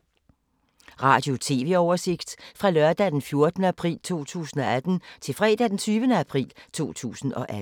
Radio/TV oversigt fra lørdag d. 14. april 2018 til fredag d. 20. april 2018